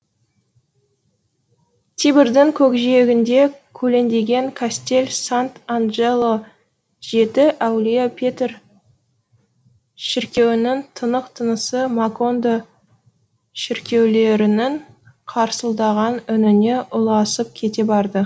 тибрдың көкжиегінде көлеңдеген кастель сант анджело жеті әулие петр шіркеуінің тұнық тынысы макондо шіркеулерінің тырсылдаған үніне ұласып кете барды